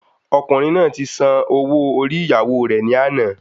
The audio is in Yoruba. Ọkùnrin náà ti san ọwọ orí ìyàwó rè ní àná